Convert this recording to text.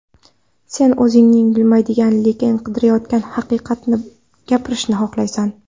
Sen o‘zing bilmaydigan, lekin qidirayotgan haqiqatingni gapirishni xohlaysan.